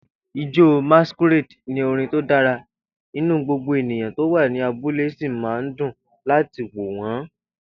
Ijó Masquerade ní orin tó dára, inú gbogbo ènìyàn tó wà ní abúlé sì máa ń dùn láti wò wọ́n.